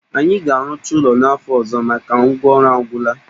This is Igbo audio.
Anyị ga-arụcha ụlo a n'afọ ọzọ maka ngwa ọrụ a gwụla